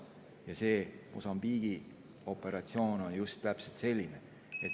See Mosambiigi operatsioon on just täpselt selline.